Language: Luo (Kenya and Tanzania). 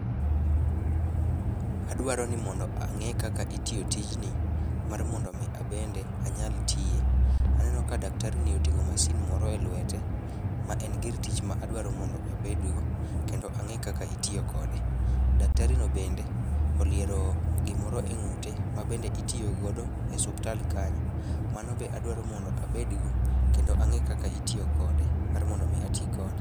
Adwaro ni mondo ang'e kaka itiyo tijni mar mondo omi abende anyal tiye. Aneno ka daktarini oting'o mashin moro e lwete ma en gir tich ma adwaro mondo abedgo mondo ang'e kaka itiyo kode. Daktarino bende oliero gimoro e ng'ute mabende itiyo godo e suptal kanyo, mano be adwaro mondo abedgo kendo ang'i kaka itiyo kode mar mondo omi ati kode.